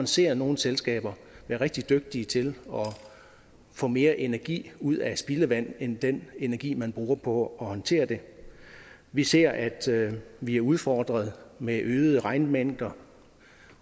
ser nogle selskaber være rigtig dygtige til at få mere energi ud af spildevand end den energi man bruger på at håndtere det vi ser at vi er udfordret med øgede regnmængder